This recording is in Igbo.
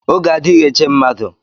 Oge adịghị eche mmadụ.